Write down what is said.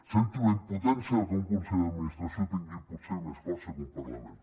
sento la impotència de que un consell d’administració tingui potser més força que un parlament